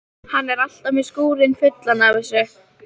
Hann er alltaf með skúrinn fullan af þessu.